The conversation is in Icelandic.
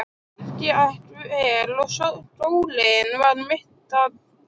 Allt gekk vel og skólinn var mitt athvarf.